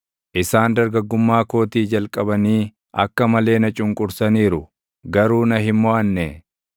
isaan dargaggummaa kootii jalqabanii akka malee na cunqursaniiru; garuu na hin moʼanne.